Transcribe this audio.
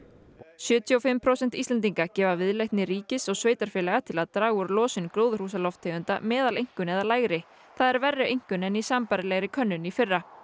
sjötíu og fimm prósent Íslendinga gefa viðleitni ríkis og sveitarfélaga til að draga úr losun gróðurhúsalofttegunda meðaleinkunn eða lægri það er verri einkunn en í sambærilegri könnun í fyrra